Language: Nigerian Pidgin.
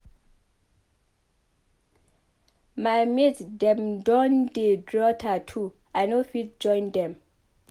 My mate dem don dey draw tatoo I no fit join dem.